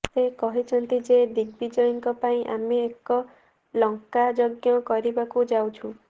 ସେ କହିଛନ୍ତି ଯେ ଦିଗବିଜୟଙ୍କ ପାଇଁ ଆମେ ଏକ ଲଙ୍କା ଯଜ୍ଞ କରିବାକୁ ଯାଉଛୁ